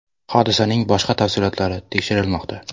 Hodisaning boshqa tafsilotlari tekshirilmoqda.